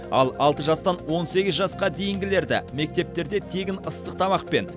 ал алты жастан он сегіз жасқа дейінгілерді мектептерде тегін ыстық тамақпен